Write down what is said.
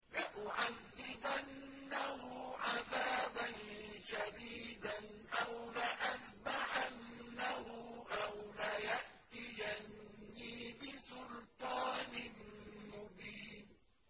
لَأُعَذِّبَنَّهُ عَذَابًا شَدِيدًا أَوْ لَأَذْبَحَنَّهُ أَوْ لَيَأْتِيَنِّي بِسُلْطَانٍ مُّبِينٍ